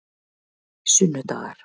sunnudagar